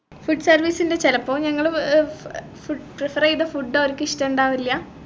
food service ൻറെ ചെലപ്പോ നമ്മള് ഏർ ഏർ prepare ചെയ്ത food അവർക്കിഷ്ടണ്ടാവില്ല